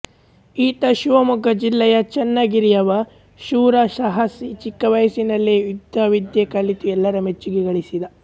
ಈತ ಶಿವಮೊಗ್ಗ ಜಿಲ್ಲೆಯ ಚನ್ನಗಿರಿಯವ ಶೂರ ಸಾಹಸಿ ಚಿಕ್ಕವಯಸ್ಸಿನಲ್ಲೇ ಯುದ್ಧವಿದ್ಯೆ ಕಲಿತು ಎಲ್ಲರ ಮೆಚ್ಚುಗೆ ಗಳಿಸಿದ